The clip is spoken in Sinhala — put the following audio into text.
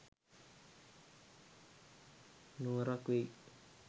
නුවරක් වෙයි.